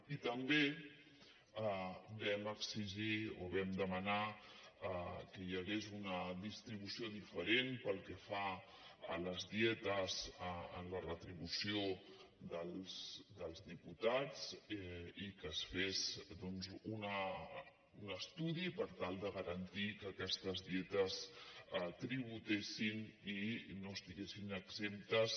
i també vam exigir o vam demanar que hi hagués una distribució diferent pel que fa a les dietes a la retribució dels diputats i que es fes doncs un estudi per tal de garantir que aquestes dietes tributessin i no estiguessin exemptes